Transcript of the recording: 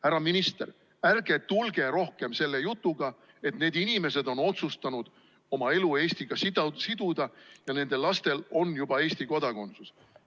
Härra minister, ärge tulge rohkem selle jutuga, et need inimesed on otsustanud oma elu Eestiga siduda ja nende lastel on juba Eesti kodakondsus.